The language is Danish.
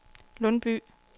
Lundby